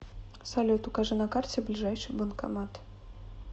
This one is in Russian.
салют укажи на карте ближайший банкомат